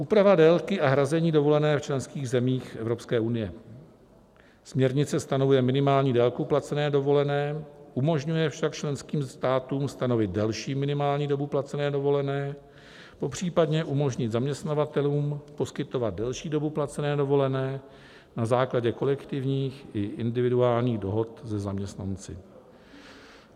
Úprava délky a hrazení dovolené v členských zemích Evropské unie: směrnice stanovuje minimální délku placené dovolené, umožňuje však členským státům stanovit delší minimální dobu placené dovolené, popřípadě umožnit zaměstnavatelům poskytovat delší dobu placené dovolené na základě kolektivních i individuálních dohod se zaměstnanci.